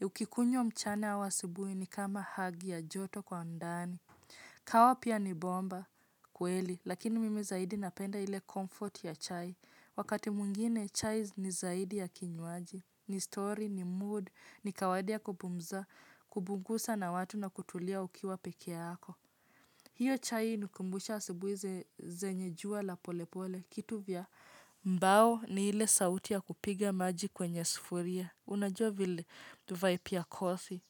Ukikunywa mchana au asubuhi ni kama hug ya joto kwa ndani. Kawaha pia ni bomba kweli, lakini mimi zaidi napenda ile comfort ya chai. Wakati mwingine, chai ni zaidi ya kinyuaji. Ni story, ni mood, ni kawadia kupumza, kupunguza na watu na kutulia ukiwa pekee yako. Hiyo chai hunikumbusha asubuhi ze zenye jua la polepole, kitu vya mbao ni ile sauti ya kupiga maji kwenye sufuria. Unajua vile, tuvaipia kothi.